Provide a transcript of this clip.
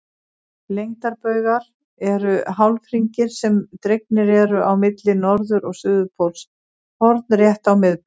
Lengdarbaugar eru hálfhringir sem dregnir eru á milli norður- og suðurpóls hornrétt á miðbaug.